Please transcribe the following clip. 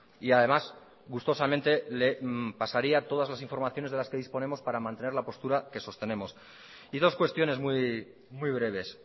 y además gustosamente le pasaría todas las informaciones de las que disponemos para mantener la postura que sostenemos y dos cuestiones muy breves